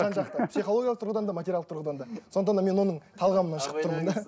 жан жақта психологиялық тұрғыдан да материалдық тұғыдан да сондықтан да мен оның талғамынан шығып тұрмын да